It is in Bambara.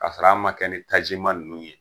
Kasɔr'a ma kɛ ni tajima ninnu ye.